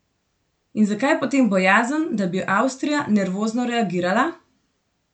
In zakaj potem bojazen, da bi Avstrija nervozno reagirala?